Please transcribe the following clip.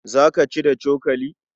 Za ka ci da cokali?